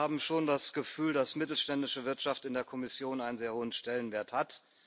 Wir haben schon das Gefühl, dass mittelständische Wirtschaft in der Kommission einen sehr hohen Stellenwert hat.